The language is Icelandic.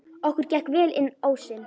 Okkur gekk vel inn ósinn.